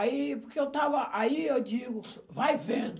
Aí porque eu estava, aí eu digo, vai vendo.